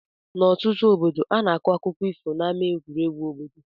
N' ọtụtụ obodo ana akọ akụkọ ifo na ama egwuregwu obodo.